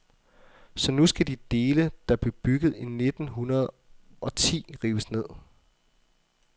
Så nu skal de dele, der blev bygget i nitten hundrede og ti, rives ned.